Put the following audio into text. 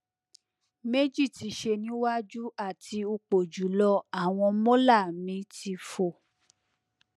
meji ti se ni waju ati upojulo awon molar mi ti fo